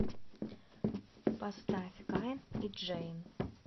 поставь кайн и джейн